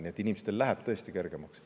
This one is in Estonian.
Nii et inimestel läheb tõesti kergemaks.